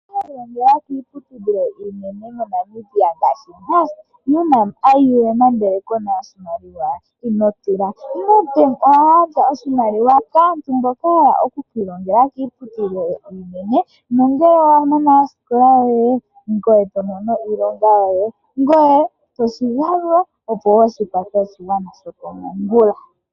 Owa hala oku kilongela kiiputudhilo iinene mo Namibia ngaashi Unam, Ium ndele kuna oshimaliwa? Ino tila Nedbank oha gandja oshimaliwa kaantu mboka ya hala oku ki ilongela kiiputudhilo mbyoka iinene nongele wa mana osikola yoye eto mono iilonga yoye ngoye toshi galula opo wo shi kwathe oshigwana sho komongula.